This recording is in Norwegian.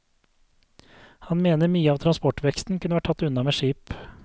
Han mener mye av transportveksten kunne være tatt unna med skip.